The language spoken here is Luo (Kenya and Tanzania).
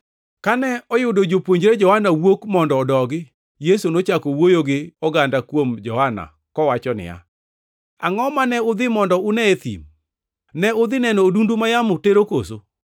Kane oyudo jopuonjre Johana wuok mondo odogi, Yesu nochako wuoyo gi oganda kuom Johana kowacho niya, “Angʼo mane udhi mondo une e thim? Ne udhi neno odundu ma yamo tero koso?